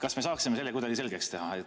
Kas me saaksime selle kuidagi selgeks teha?